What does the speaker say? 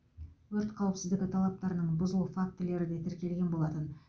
өрт қауіпсіздігі талаптарының бұзылу фактілері де тіркелген болатын